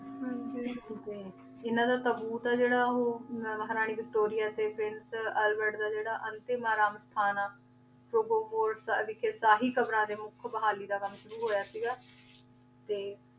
ਹਾਂਜੀ ਇਨਾਂ ਦਾ ਤੂਤ ਆਯ ਜੇਰਾ ਊ ਮਹਾਰਾਨੀ ਵਿਕਟੋਰਿਆ ਟੀ ਪ੍ਰਿੰਸ ਅਲ੍ਵੇਰਡ ਦਾ ਜੇਰਾ ਅੰਤਿਮ ਆਰਾਮ ਖਾਨਾ ਯਾਨੀ ਕੇ ਸਹੀ ਕ਼ਾਬ੍ਰਾਂ ਦਾ ਮੁਖ ਬਹਾਲੀ ਦਾ ਕਾਮ ਸ਼ੁਰੂ ਹੋਯਾ ਸੀਗਾ ਤੇ